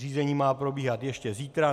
Řízení má probíhat ještě zítra.